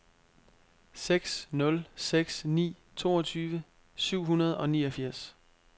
seks nul seks ni toogtyve syv hundrede og niogfirs